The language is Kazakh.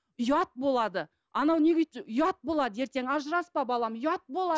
ұят болады анау неге ұят болады ертең ажыраспа балам ұят